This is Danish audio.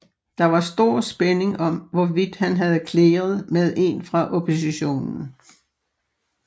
Der var stor spænding om hvorvidt han havde clearet med en fra oppositionen